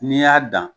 N'i y'a dan